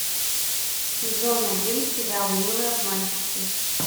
сезон один сериал милые обманщицы